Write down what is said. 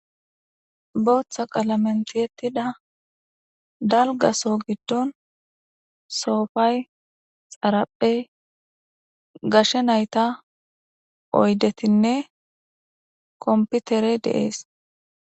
Keehippe dembba bessa issippe shiiqidi diza miisha oykkida oge bolla eqqida dumma dumma asatinne gita dembbazan miththata tokkishe dizayssane hara bagara gede miththatikka dizayssi beteesi.